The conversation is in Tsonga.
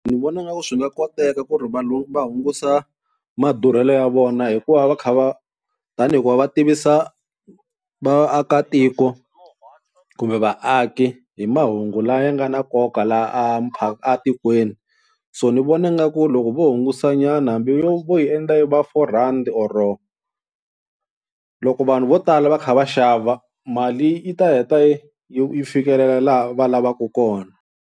Ni vona ingaku swi nga koteka ku ri vanhu va hungusa madurhelo ya vona hikuva va kha va tani hi ku va va tivisa vaakatiko kumbe vaaki hi mahungu lawa ya nga na nkoka laha a a tikweni. So ni vona nga ku loko vo hungusanyana hambi yo vo yi endla yi va four rand or loko vanhu vo tala va kha va xava mali yi ta heta yi yi fikelela laha va lavaka kona.